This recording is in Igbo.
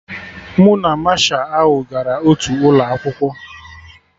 Mụ na Masha ahụ gara otu ụlọ akwụkwọ